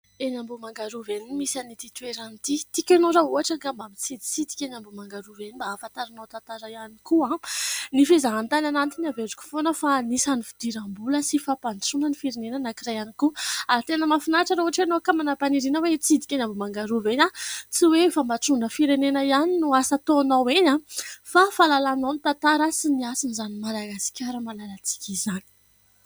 Eny Ambohimanga Rova eny no misy an'ity toerana ity. Tiako ianao raha ohatra ka mba mitsiditsidika eny Ambohimanga Rova eny, mba ahafantaranao tantara ihany koa. Ny fizahan-tany anatiny averiko foana fa anisan'ny fidiram-bola sy fampandrosoana ny firenena anankiray ihany koa. Ary tena mahafinaritra raha ohatra ianao ka manam-paniriana hitsidika eny Ambohimanga Rova eny. Tsy hoe fampandrosoana ny firenena ihany no asa ataonao eny, fa fahalalànao ny tantara sy ny hasin'izany Madagasikara malalantsika izany.